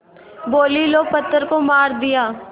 बोलीं लो पत्थर को मार दिया